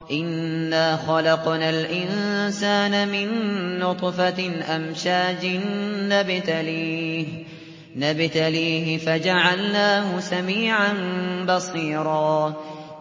إِنَّا خَلَقْنَا الْإِنسَانَ مِن نُّطْفَةٍ أَمْشَاجٍ نَّبْتَلِيهِ فَجَعَلْنَاهُ سَمِيعًا بَصِيرًا